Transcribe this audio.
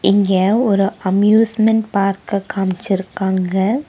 இங்க ஒரு அம்யூஸ்மென்ட் பார்க்க காமிச்சுருக்காங்க.